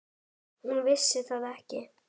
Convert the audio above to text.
Hún vissi það ekki.